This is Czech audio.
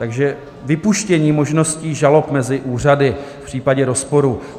Takže vypuštění možností žalob mezi úřady v případě rozporu.